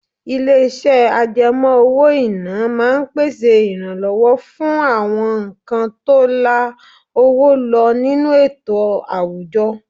Ilé-iṣẹ́ àjẹmó owó-ìná máa ń pèsè ìrànlọ́wọ́ fún àwọn nǹkan tó la owó lọ nínú ètò àwùjọ.